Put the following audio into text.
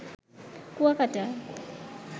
Kuakata